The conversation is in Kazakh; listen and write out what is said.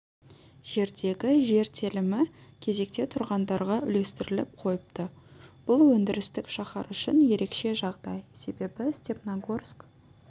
жердегі жер телімі кезекте тұрғандарға үлестіріліп қойыпты бұл өндірістік шаһар үшін ерекше жағдай себебі степногорск